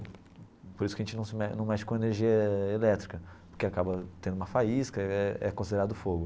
Por isso que a gente não se me não mexe com energia elétrica, porque acaba tendo uma faísca, é é considerado fogo.